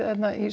í